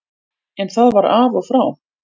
En það var af og frá.